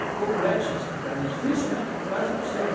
É complexo de explicar, né, é difícil, né, é quase impossível.